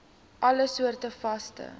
alle soorte vaste